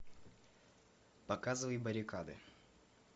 показывай баррикады